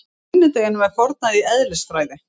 Sunnudeginum er fórnað í eðlisfræði.